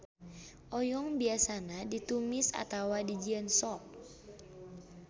Oyong biasana ditumis atawa dijieun sop.